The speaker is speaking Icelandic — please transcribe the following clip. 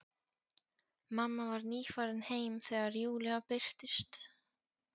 Mamma var nýfarin heim þegar Júlía birtist.